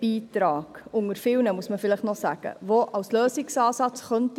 Vielleicht muss man noch sagen, dass er als Teilbeitrag unter vielen zum Lösungsansatz taugen könnte.